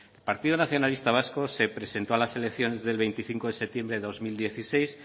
el partido nacionalista vasco se presentó a las elecciones del veinticinco de septiembre del dos mil dieciséis